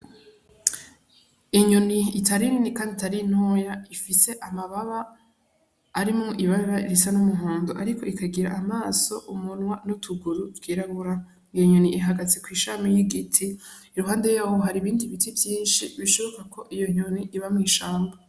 Inyoni itari nini kandi itari ntoya ifise amababa arimwo ibara risa n'umuhondo, ariko ikagira amaso umunwa n'utuguru tw'irabura, iyo nyoni ihagaze kw'ishami y'igiti iruhande yaho hari ibindi biti vyinshi bishoboka ko iyo nyoni iba mw'ishamba.